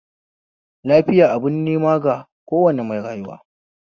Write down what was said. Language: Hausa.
Lafiya abun neman ga kowane mai rayuwa